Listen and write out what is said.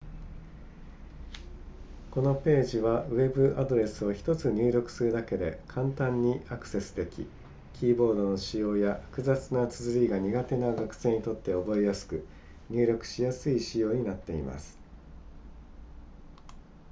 このページはウェブアドレスを1つ入力するだけで簡単にアクセスできキーボードの使用や複雑な綴りが苦手な学生にとって覚えやすく入力しやすい仕様になっています